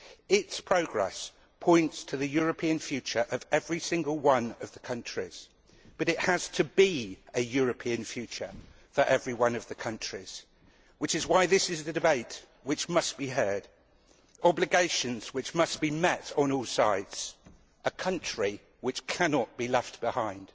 Its progress points to the European future of every single one of the countries, but there has to be a European future for every one of the countries, which is why this is the debate which must be heard, these are the obligations which must be met on all sides, this is a country which cannot be left behind.